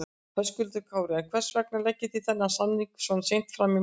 Höskuldur Kári: En hvers vegna leggið þið þennan samning svona seint fram í málinu?